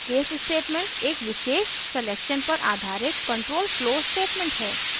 case statement एक विशेष selection पर आधारित control flow स्टेटमेंट है